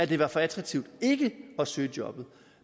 det var for attraktivt ikke at søge jobbet